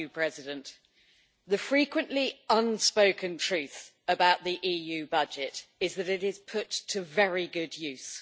Mr President, the frequently unspoken truth about the EU budget is that it is put to very good use.